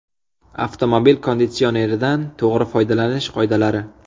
Avtomobil konditsioneridan to‘g‘ri foydalanish qoidalari.